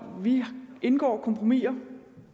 vi indgår kompromisser